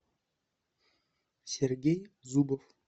сергей зубов